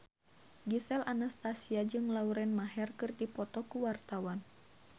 Gisel Anastasia jeung Lauren Maher keur dipoto ku wartawan